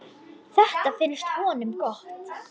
Þetta finnst honum gott.